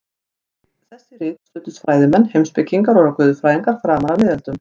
Við þessi rit studdust fræðimenn, heimspekingar og guðfræðingar framan af miðöldum.